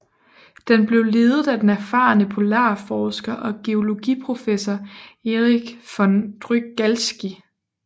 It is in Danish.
Den blev ledet af den erfarne polarforsker og geologiprofessor Erich von Drygalski